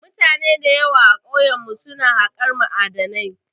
Mutane da yawa a kauyen mu su na haƙar ma'adinai